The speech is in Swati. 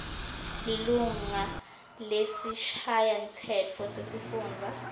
lilunga lesishayamtsetfo sesifundza